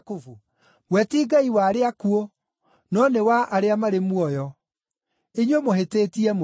We ti Ngai wa arĩa akuũ, no nĩ wa arĩa marĩ muoyo. Inyuĩ mũhĩtĩtie mũno.”